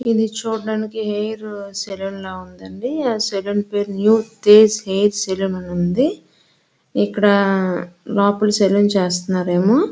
ఇది చూడ్డానికి hair salon లాగా ఉందండి ఆ సెలూన్ పేరు న్యూ తేజ్ హెయిర్ సెలూన్ అని ఉంది ఇక్కడ లోపల సలూన్ చేస్తున్నారేమో.